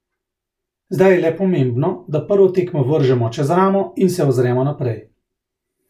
Zdaj je le pomembno, da prvo tekmo vržemo čez ramo in se ozremo naprej.